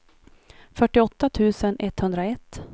fyrtioåtta tusen etthundraett